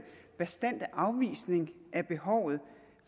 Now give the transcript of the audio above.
bastante afvisning af behovet